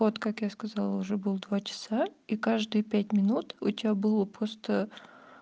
вот как я сказала уже был два часа и каждые пять минут у тебя было просто